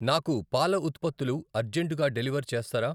నాకు పాల ఉత్పత్తులు అర్జంటుగా డెలివర్ చేస్తారా?